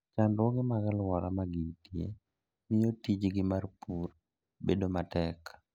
Chandruoge mag alwora ma gintie, miyo tijgi mar pur bedo matek.